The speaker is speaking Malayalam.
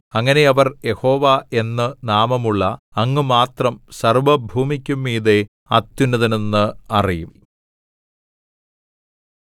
അങ്ങനെ അവർ യഹോവ എന്ന് നാമമുള്ള അങ്ങ് മാത്രം സർവ്വഭൂമിക്കും മീതെ അത്യുന്നതൻ എന്ന് അറിയും